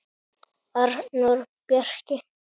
Arnór Bjarki.